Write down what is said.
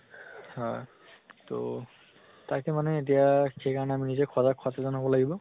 হয় তহ তাকে মানে এতিয়া সেই কাৰণে আমি নিজে সজাগ সচেতন হʼব লাগিব